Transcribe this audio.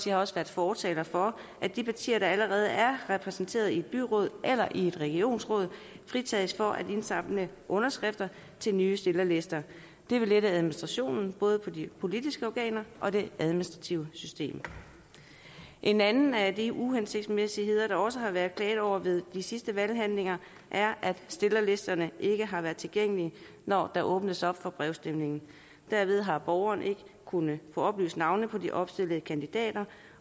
har også været fortaler for at de partier der allerede er repræsenteret i byråd eller i et regionsråd fritages for at indsamle underskrifter til nye stillerlister det vil lette administrationen både hvad angår de politiske organer og de administrative systemer en anden af de uhensigtsmæssigheder der også har været klaget over ved de sidste valghandlinger er at stillerlisterne ikke har været tilgængelige når der åbnes for brevafstemning derved har borgerne ikke kunnet få oplyst navnene på de opstillede kandidater